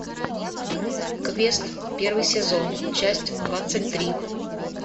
квест первый сезон часть двадцать три